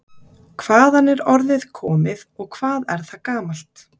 Hvaðan er orðið komið og hvað er það gamalt?